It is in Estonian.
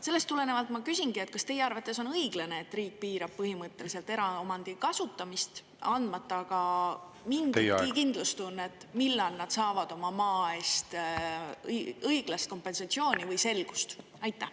Sellest tulenevalt ma küsingi, et kas teie arvates on õiglane, et riik piirab põhimõtteliselt eraomandi kasutamist, andmata aga mingitki kindlustunnet, millal nad saavad oma maa eest õiglast kompensatsiooni või selgust?